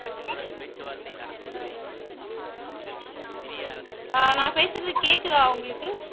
ஆஹ் நான் பேசுறது கேக்குதா உங்களுக்கு